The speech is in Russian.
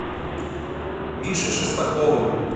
мишей шестаковым